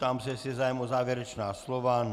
Ptám se, jestli je zájem o závěrečná slova.